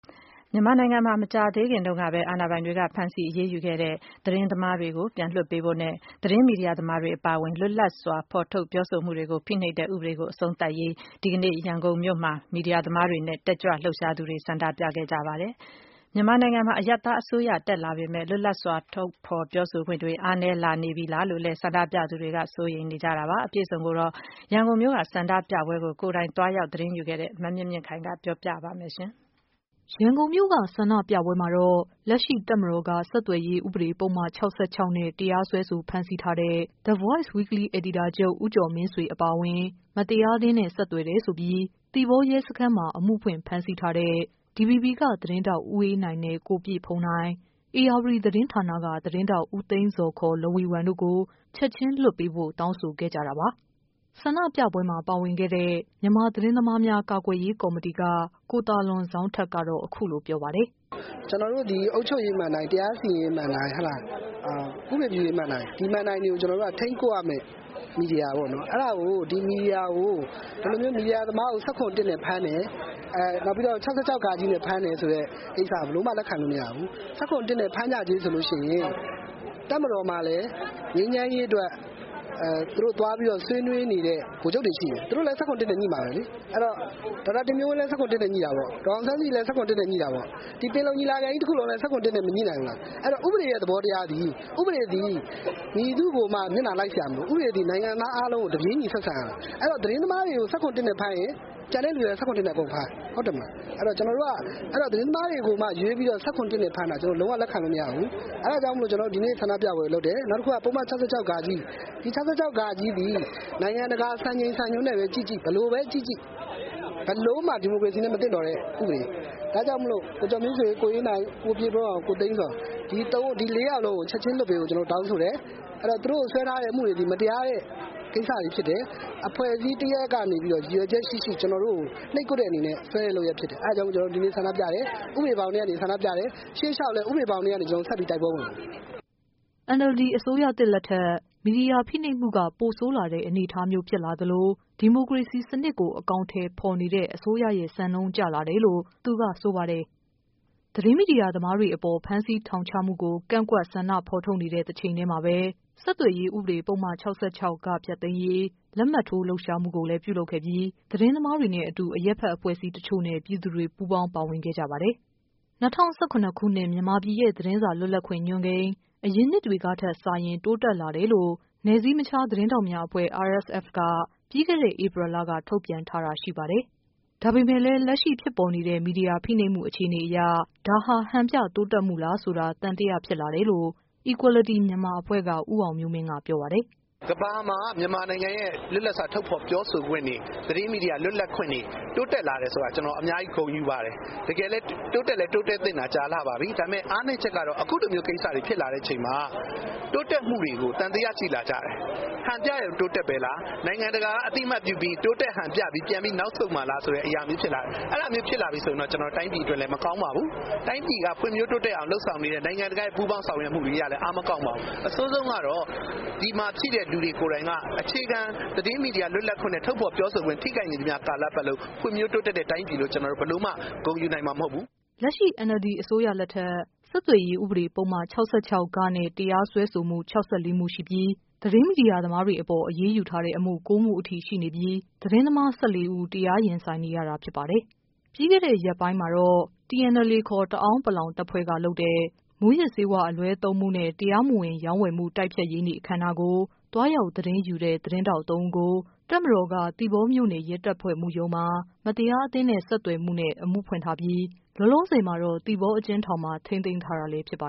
မြန်မာနိုင်ငံမှာ မကြာသေးခင်တုန်းကပဲ အာဏာပိုင်တွေက ဖမ်းဆီးအရေးယူခဲ့တဲ့ သတင်းသမားတွေကို ပြန်လွှတ်ပေးဖို့နဲ့ သတင်းမီဒီယာ သမားတွေ အပါအဝင် လွတ်လပ်စွာ ထုတ်ဖော်ပြောဆိုမှုတွေကို ဖိနှိပ်တဲ့ ဥပဒေကို အဆုံးသတ်ရေး ရန်ကုန်မြို့မှာ ဒီကနေ့ပဲ မီဒီယာသမားတွေနဲ့ တက်ကြွလှုပ်ရှားသူတွေ ဆန္ဒပြခဲ့ကြပါတယ်။ မြန်မာနိုင်ငံမှာ အရပ်သားအစိုးရ တက်လာပေမဲ့၊ လွတ်လပ်စွာ ထုတ်ဖော်ပြောဆိုခွင့်တွေ အားနည်း လာနေပြီလား လို့လည်း ဆန္ဒပြသူတွေက စိုးရိမ်နေကြတာပါ။ အပြည့်အစုံ ကိုတော့ ရန်ကုန်မြို့က ဆန္ဒပြပွဲကို ကိုယ်တိုင်သွားရောက် သတင်းယူခဲ့တဲ့ မမြင့်မြင့်ခိုင်က ပြောပြပေးမှာ ဖြစ်ပါတယ်။ ရန်ကုန်မြို့က ဆန္ဒပြပွဲမှာတော့ လက်ရှိ တပ်မတော်က ဆက်သွယ်ရေး ဥပဒေ ပုဒ်မ ၆၆ဃနဲ့ တရားစွဲဆို ဖမ်းဆီးထားတဲ့ The Voice Weekly အယ်ဒီတာချုပ် ဦးကျော်မင်းဆွေ အပါအဝင် မတရားသင်းနဲ့ ဆက်သွယ်တယ်ဆိုပြီး သီပေါ ရဲစခန်းမှာ အမှုဖွင့် ဖမ်းဆီးထားတဲ့ DVB က သတင်းထောက် ဦးအေးနိုင်နဲ့ ကိုပြည့်ဘုန်းနိုင်၊ ဧရာဝတီ သတင်းဌာနက သတင်းထောက် ဦးသိန်းဇော်ခေါ် လဝီဝမ်တို့ ကို ချက်ချင်း လွှတ်ပေးဖို့ တောင်းဆိုခဲ့ကြတဲ့အကြောင်း ဆန္ဒပြရာမှာ ပါဝင်ခဲ့တဲ့ မြန်မာသတင်းသမားများ ကာကွယ်ရေး ကော်မတီက ကိုသာလွန်ဇောင်းထက်က ပြောပါတယ်။ " ကျနော်တို့သည် အုပ်ချုပ်ရေးမဏ္ဍိုင် တရားစီရင်ရေးမဏ္ဍိုင် ဥပဒေပြုရေးမဏ္ဍိုင် ဒီမဏ္ဍိုင်တွေကို ထိန်းကွပ်ရမယ့် မီဒီယာပေါ့နော် အဲ့တာကို ဒီမီဒီယာကို ဒီမီဒီယာသမားကို ၁၇-၁ နဲ့ဖမ်းမယ်။ ၆၆ဃ နဲ့ ဖမ်းမယ် ဆိုတဲ့ကိစ္စက ဘယ်လိုမှ လက်ခံလို့မရဘူး။ ၁၇-၁ နဲ့ ဖမ်းကြကြေးဆိုလို့ရှိရင် တပ်မတော်မှာလည်း ငြိမ်းချမ်းရေးအတွက် သူတို့သွားပြီးတော့ ဆွေးနွေးနေတဲ့ ဗိုလ်ချုပ်တွေရှိတယ်။ သူတို့လည်း ၁၇-၁ နဲ့ ငြိမှာပဲလေ။ အဲ့တော့ ဒေါက်တာတင်မျိုးဝင်းလည်း ၁၇-၁ နဲ့ ငြိမှာပဲ။ ဒေါ်အောင်ဆန်းစုကြည်လည်း ၁၇-၁ နဲ့ ငြိမှာပဲ။ ဒီပင်လုံညီလာခံကြီးတခုလုံးလည်း ၁၇-၁ နဲ့ မငြိနိုင်ဘူးလား။ အဲ့တော့ ဥပဒေရဲ့သဘောတရားသည် ဥပဒေသည် မည်သူ့ကိုမျှ မျက်နှာလိုက်စရာမလို ဥပဒေသည် နိုင်ငံသားအားလုံးကို တပြေးညီ ဆက်ဆံရမယ်။ အဲ့တော့ သတင်းသမားတွေကို ၁၇-၁ နဲ့ ဖမ်းရင် ကျန်တဲ့သူလည်း ၁၇-၁ နဲ့ အကုန်ဖမ်း ဟုတ်တယ်မဟုတ်လား။ အဲ့တော့ ကျနော်တို့က သတင်းသမားတွေကိုမှ ရွေးပြီး ၁၇-၁ နဲ့ ဖမ်းတာ လုံးဝ လက်ခံလို့မရဘူး။ အဲ့တာကြောင့် ကျနော်တို့ ဒီနေ့ဆန္ဒပြပွဲကိုလုပ်တယ်။ နောက်တခုက ပုဒ်မ ၆၆ ဃ ဒီ ၆၆ဃ သည် နိုင်ငံတကာစံချိန်စံညွှန်းနဲ့ပဲ ကြည့်ကြည့် ဘ ယ်လိုပဲကြည့်ကြည့် ဘယ်လိုမှ ဒီမိုကရေစီနဲ့ မသင့်တော်တဲ့ဥပဒေ ဒါကြောင့်မို့လို့ ကိုကျော်မင်းဆွေ၊ ကိုအေးနိုင်၊ ကိုပြည့်ဘုန်းနိုင်၊ ကိုသိန်းဇော် ဒီလေးယောက်စလုံးကို ချက်ခြင်းလွှတ်ပေးဖို့ ကျနော်တို့ တောင်းဆိုတယ်။ အဲ့တော့ သူတို့ကို ဆွဲထားတဲ့ အမှုတွေသည် မတရားတဲ့ကိစ္စတွေဖြစ်တယ်။ အဖွဲ့အစည်းတရပ်ရပ်ကနေ ရည်ရွယ်ချက်ရှိရှိ ကျနော်တို့ကို နှိပ်ကွပ်တဲ့လုပ်ရပ်အနေနဲ့ ဆွဲတာဖြစ်တယ် အဲ့တာကြောင့် ကျနော်တို့ ဒီနေ့ဆန္ဒပြတယ် ဥပဒေဘောင်ထဲကနေ ဆန္ဒပြတယ်။ ရှေ့လျောက်လည်း ဥပဒေဘောင်ထဲကနေ ကျနော်တို့ ဆက်ပြီးတိုက်ပွဲဝင်မယ်။" NLD အစိုးရသစ်လက်ထက် မီဒီယာဖိနှိပ်မှုက ပိုဆိုးလာတဲ့ အနေအထားမျိုးဖြစ်လာသလို ဒီမိုကရေစီ စနစ်ကို အကောင်အထည်ဖော်နေတဲ့ အစိုးရရဲ့ စံနှုန်းကျလာတယ်လို့ သူကဆိုပါတယ်။ သတင်းမီဒီယာသမားတွေကို ဖမ်းဆီးထောင်ချမှုကို ကန့်ကွက်ဆန္ဒဖော်ထုတ်နေတဲ့ တချိန်တည်းမှာပါပဲ ပုဒ်မ ၆၆ဃ ဖျက်သိမ်းရေး လက်မှတ်ထိုးလှုပ်ရှားမှုကိုလဲ ပြုလုပ်ခဲ့ပြီး သတင်းသမားတွေနဲ့အတူ အရပ်ဖက်အဖွဲ့အစည်းတချို့နဲ့ ပြည်သူတွေ ပူးပေါင်း ပါဝင်ခဲ့ကြပါတယ်။ ၂၀၁၇ ခုနှစ် မြန်မာပြည်ရဲ့ သတင်းစာလွတ်လပ်ခွင့် ညွှန်းကိန်း အရင်နှစ်တွေကထက် စာရင် တိုးတက် လာတယ်လို့ နယ်စည်းမခြား သတင်းထောက်များအဖွဲ့ RSF က ပြီးခဲ့တဲ့ ဧပြီလက ထုတ်ပြန်ထားတာ ရှိပါတယ်။ ဒါပေမဲ့လဲ လက်ရှိ ဖြစ်ပေါ်နေတဲ့ မီဒီယာ ဖိနှိပ်မှုအခြေအနေအရ ဒါဟာ ဟန်ပြတိုးတက်မှု လား ဆိုတာ သံသယ ဖြစ်လာတယ်လို့ Equality Myanmar အဖွဲ့က ဦးအောင်မျိုးမင်းက ပြောပါတယ်။ "ကမ္ဘာမှာ မြန်မာနိုင်ငံရဲ့ လွတ်လပ်စွာ ထုတ်ဖော်ပြောဆိုခွင့်တွေ သတင်းမီဒီယာ လွတ်လပ်ခွင့်တွေ တိုးတက်လာတယ်ဆိုတာ ကျနော် အများကြီးဂုဏ်ယူပါတယ်။ တကယ်လည်း တိုးတက်သင့်တာ ကြာလှပါပြီ။ ဒါပေမဲ့ အားနည်းချက်ကတော့ အခုလိုမျိုး ကိစ္စတွေ ဖြစ်လာတဲ့အချိန်မှာ တိုးတက်မှုတွေကို သံသယရှိလာကြတယ်။ ဟန်ပြရုံတိုးတက်မှုလား နိုင်ငံတကာ က အသိအမှတ်ပြုပြီး တိုးတက်ဟန်ပြပြီး ပြန်ပြီး နောက်ဆုတ်မှာလားဆိုတဲ့အရာမျိုး ဖြစ်လာတယ်။ အဲ့တာမျိုးဖြစ်လာရင် တိုင်းပြည်အတွက်လည်း မကောင်းပါဘူး။ တိုင်းပြည်က ဖွံ့ဖြိုးတိုးတက်အောင် လုပ်ဆောင်နေတဲ့ နိုင်ငံတကာရဲ့ ပူးပေါင်းဆောင်ရွက်မှုတွေအရလည်း အားမကောင်းပါဘူး။ အဆိုးဆုံးကတော့ ဒီမှာရှိတဲ့သူတွေကိုယ်တိုင်က အခြေခံသတင်းမီဒီယာ လွတ်လပ်ခွင့် ထုတ်ဖော်ပြောဆိုခွင့် ထိခိုက်နေသမျှကာလပတ်လုံး ဖွံ့ဖြိုးတိုးတက်တဲ့တိုင်းပြည်လို့ ဘယ်လိုမှ ဂုဏ်ယူနိုင်မှာမဟုတ်ဘူး။" လက်ရှိ NLD အစိုးရလက်ထက် ဆက်သွယ်ရေး ဥပဒေ ပုဒ်မ ၆၆ဃနဲ့ တရားစွဲဆိုမှု၆၄မှု ရှိပြီး သတင်း မီဒီယာသမားတွေအပေါ် အရေးယူထားတဲ့အမှု ၉ မှုအထိရှိနေပြီး သတင်းသမား ၁၄ဦး တရားရင် ဆိုင် နေရတာဖြစ်ပါတယ်။ ပြီးခဲ့တဲ့ ရက်ပိုင်းမှာတော့ TNLA ခေါ် တအာင်း တပ်ဖွဲ့က လုပ်တဲ့ မူးယစ်ဆေးဝါးအလွဲသုံးမှုနဲ့ တရားမဝင် ရောင်းဝယ်မှုတိုက်ဖျက်ရေးနေ့အခမ်းအနားကို သွားရောက် သ တင်းယူခဲ့တဲ့ သတင်းထောက် ၃ဦးကို တပ်မတော်က သီပေါမြို့နယ်ရဲတပ်ဖွဲ့မှုရုံးမှာ မတရားအသင်းနဲ့ ဆက်သွယ်မှုနဲ့ အမှုဖွင့်ထားပြီး လောလောဆယ်မှာတော့ သီပေါအကျဉ်းထောင်မှာ ထိန်းသိမ်းထားတာလဲဖြစ်ပါ